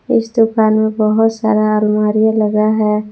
इस दुकान में बहोत सारा अलमारी लगा है।